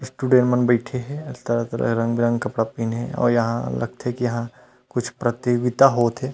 Student मन बईठे हे तरह-तरह रंग-बिरंग के कपड़े पहिने हे अउ यहाँ लगथे की यहाँ कुछ प्रयोगिता होत हे।